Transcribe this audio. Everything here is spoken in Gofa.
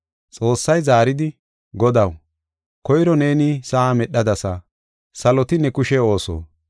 Xoossay Zaaridi, “Godaw, koyro neeni sa7a medhadasa; saloti ne kushe ooso.